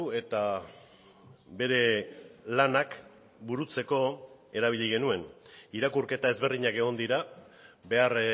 eta bere lanak burutzeko erabili genuen irakurketa ezberdinak egon dira behar